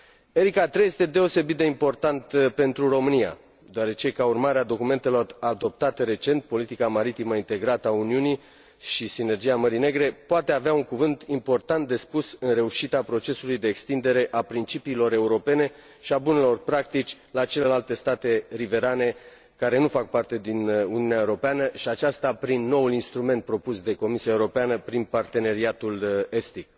Erika III este deosebit de important pentru România deoarece, ca urmare a documentelor adoptate recent Politica maritimă integrată a Uniunii și Sinergia Mării Negre, poate avea un cuvânt important de spus în reușita procesului de extindere a principiilor europene și a bunelor practici la celelalte state riverane care nu fac parte din Uniunea Europeană, și aceasta prin noul instrument propus de Comisia Europeană prin Parteneriatul Estic.